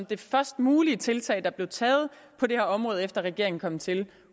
det først mulige tiltag der blev taget på det her område efter at regeringen kom til